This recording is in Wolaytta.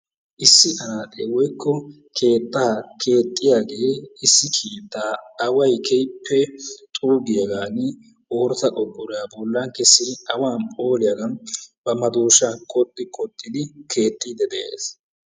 Issi anaxe woykko keetta keexiyage issi keetta awaay keehippe xuugiyagani ooratta qorqqoruwaa bollawu kessidi awaan phooliyagan ba madoshshan qoxi qoxidi keexidi de'ees.